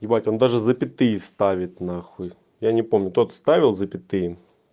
ебать он даже запятые ставят на хуй я не помню тот ставил запятые